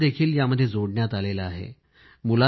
शाळांना यामध्ये जोडण्यात आले आहे